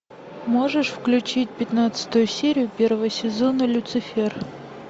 можешь включить пятнадцатую серию первого сезона люцифер